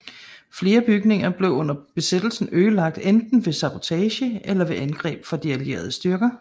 Flere bygninger blev under besættelsen ødelagt enten ved sabotage eller ved angreb fra de allierede styrker